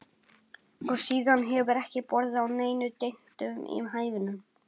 Og síðan hefur ekki borið á neinum dyntum í hænunum.